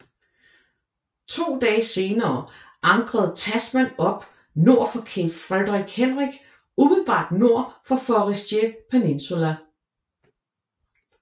To dage senere ankrede Tasman op nord for Cape Frederick Hendrick umiddelbart nord for Forestier Peninsula